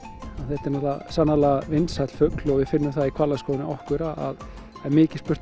þetta er sannarlega vinsæll fugl og við finnum það í hvalaskoðun hjá okkur að það er mikið spurt